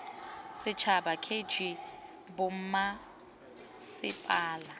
setšhaba k g r bommasepala